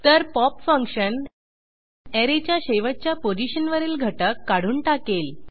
तर pop function ऍरेच्या शेवटच्या पोझिशनवरील घटक काढून टाकेल